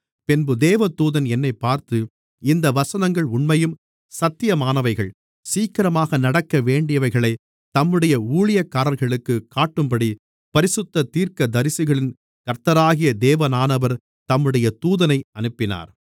பின்பு தேவதூதன் என்னைப் பார்த்து இந்த வசனங்கள் உண்மையும் சத்தியமானவைகள் சீக்கிரமாக நடக்கவேண்டியவைகளைத் தம்முடைய ஊழியக்காரர்களுக்குக் காட்டும்படி பரிசுத்த தீர்க்கதரிசிகளின் கர்த்தராகிய தேவனானவர் தம்முடைய தூதனை அனுப்பினார்